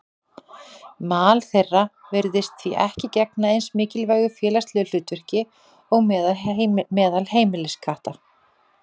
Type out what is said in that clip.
Mal þeirra virðist því ekki gegna eins mikilvægu félagslegu hlutverki og meðal heimiliskatta.